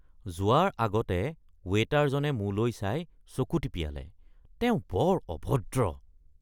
যোৱাৰ আগতে ৱেটাৰজনে মোলৈ চাই চকু টিপিয়ালে। তেওঁ বৰ অভদ্ৰ।